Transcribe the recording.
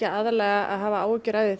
aðallega áhyggjur af því